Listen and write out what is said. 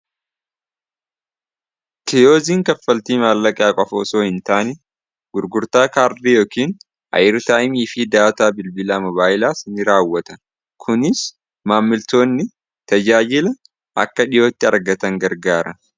Kiyooziin kaffaltii maallaqaa qofa osoo hin taani gurgurtaa kaardii yookiin ayir taa'imifii daataa bilbilaa mobaayilaas ni raawwata kuniis maammiltoonni tajaajila akka dhiyootti argatan gargaara